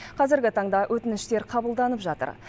қазіргі таңда өтініштер қабылданып жатыр